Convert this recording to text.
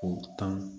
K'o tan